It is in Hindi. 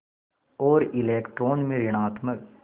और इलेक्ट्रॉन में ॠणात्मक